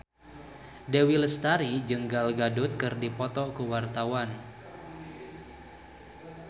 Dewi Lestari jeung Gal Gadot keur dipoto ku wartawan